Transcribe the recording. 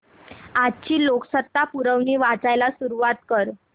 आजची लोकसत्ता पुरवणी वाचायला सुरुवात कर